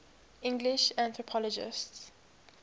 english anthropologists